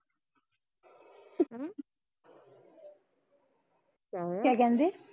ਕਿਆ ਕਹਿੰਦੀ